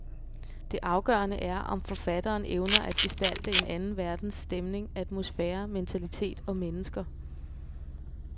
Det afgørende er, om forfatteren evner at gestalte en anden verdens stemning, atmosfære, mentalitet og mennesker.